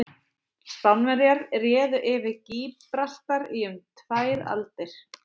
Spánverjar réðu yfir Gíbraltar í um tvær aldir.